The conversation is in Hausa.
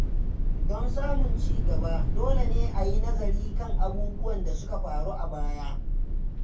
Don samun ci gaba, dole ne a yi nazari kan abubuwan da suka faru a baya.